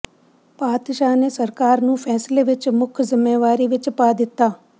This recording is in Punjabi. ਪਾਤਸ਼ਾਹ ਨੇ ਸਰਕਾਰ ਨੂੰ ਫ਼ੈਸਲੇ ਵਿੱਚ ਮੁੱਖ ਜ਼ਿੰਮੇਵਾਰੀ ਵਿੱਚ ਪਾ ਦਿੱਤਾ